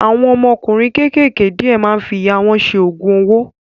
Àwọn ọmọkùnrin kékèké díẹ̀ máa ń fi ìyà wọn ṣe Ògùn owó